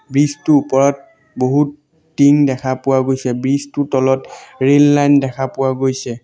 Bridge টোৰ ওপৰত বহুত টিং দেখা পোৱা গৈছে ব্ৰিজ টোৰ তলত ৰেল লাইন দেখা পোৱা গৈছে।